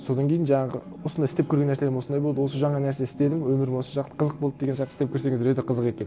содан кейін жаңағы осындай істеп көрген нәрселерім осындай болды осы жаңа нәрсе істедім өмірім осы шақта қызық болды деген сияқты істеп көрсеңіздер өте қызық екен